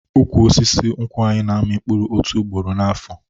Ụkwụ osisi nkwụ anyị na-amị otu ugboro n'afo